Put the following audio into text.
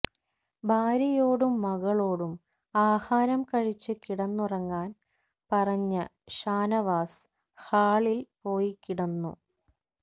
ഭാര്യയോടും മക്കളോടും ആഹാരം കഴിച്ച് കിടന്നുറങ്ങാൻ പറഞ്ഞ ഷാനവാസ് ഹാളിൽ പോയി കിടന്നു